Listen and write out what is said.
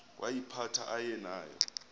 woyiphatha aye nayo